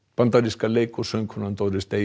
bandaríska leik og söngkonan Doris Day